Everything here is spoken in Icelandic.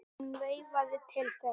Hún veifaði til þeirra.